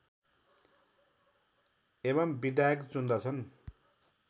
एवं विधायक चुन्दछन्